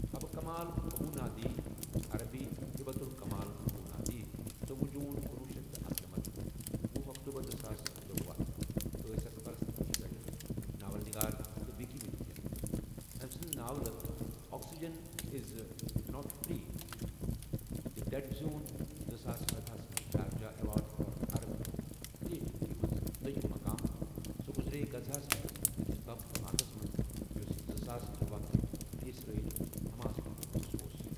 Habba Kamal Abu Nada عربی حبة كمال أبو نادى ژوُہ جون کنُۄہُ شیتھ تہٕ اکنمتھ، وُہ اکتوبر زٕساس تروَہ ٲسۍ اَکھ فلسطینی شٲعر ، ناول نگار ، تہٕ وِکیٖمیٖڈیَن أمہ سٕنٛز ناولہ oxygen is not for the dead زیون زٕساس سدہَ ہس مَنٛز Sharjah award for Arab creativity مَنٛز دوٚیم مُقام سۄ گزریے غزہ مَنٛز أکس بم دھماکس مَنٛز یس زٕساس ترٛوَہ کہ اسرائیل حماس جنٛگُک حِصہٕ اوس۔